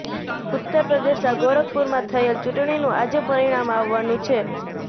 ઉત્તર પ્રદેશનાં ગોરખપુરમાં થયેલ ચૂંટણીનું આજે પરિણામ આવવાનું છે